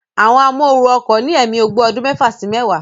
Àwọn amóooru ọkọ̀ ní ẹ̀mí ogbó ọdún mẹ́fà sí mẹ́wàá